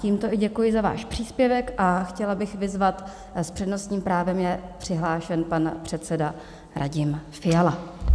Tímto i děkuji za váš příspěvek a chtěla bych vyzvat - s přednostním právem je přihlášen pan předseda Radim Fiala.